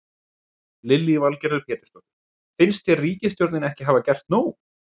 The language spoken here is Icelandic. Lillý Valgerður Pétursdóttir: Finnst þér ríkisstjórnin ekki hafa gert nóg?